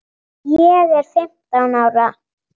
Ég er fimmtán ára.